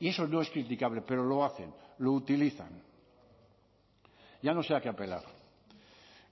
y eso no es criticable pero lo hacen lo utilizan ya no sé a qué apelar